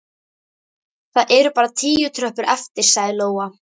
Það eru bara tíu tröppur eftir, sagði Lóa.